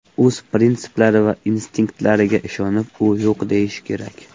O‘z prinsiplari va instinktlariga ishonib, u yo‘q deyishi kerak.